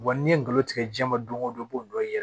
Wa n'i ye ngalon tigɛ ji jɛman don ko don b'o dɔ ye yɛrɛ